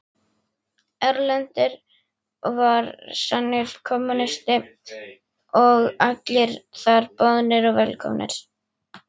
Erlendur var sannur kommúnisti og allir þar boðnir og velkomnir.